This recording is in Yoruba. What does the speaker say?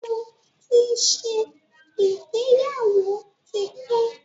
Mo ti ṣe ìgbéyàwó tí pẹ́.